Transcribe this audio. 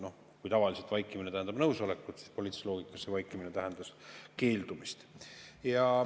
Noh, kui tavaliselt vaikimine tähendab nõusolekut, siis politiilises loogikas see vaikimine tähendas keeldumist.